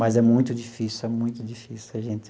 Mas é muito difícil, é muito difícil a gente